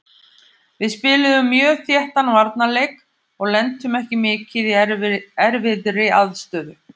Við spiluðum mjög þéttan varnarleik og lentum ekki mikið í erfiðri aðstöðu.